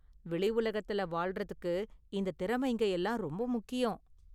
வெளி உலகத்துல வாழ்றதுக்கு இந்த திறமைங்க எல்லாம் ரொம்ப முக்கியம்.